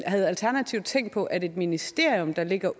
havde alternativet tænkt på at et ministerium der ligger